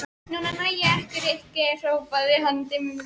Núna næ ég ykkur hrópaði hann dimmum rómi.